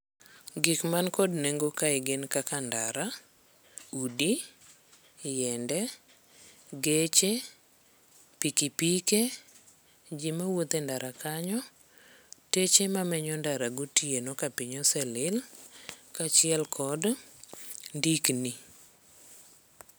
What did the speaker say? Gik man kod nengo kae gin kaka ndara, udi, yiende, geche, pikipike, ji mawuothe ndara kanyo, teche mamenyo ndara gotieno ka piny oselil, kaachiel kod ndikni.